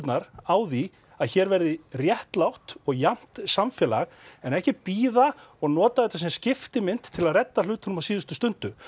á því að hér verði réttlátt og jafnt samfélag en ekki bíða og nota þetta sem skiptimynt til að redda hlutunum á síðustu stundu